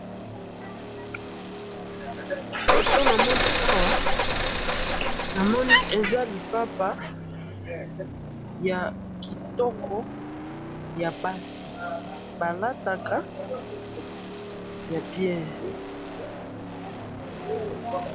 photo namoni awa namoni eza lipapa ya kitoko yabasi balataka ya bien